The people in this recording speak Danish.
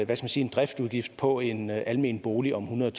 man sige en driftsudgift på en almen bolig om hundrede